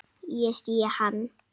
Ég sé hann.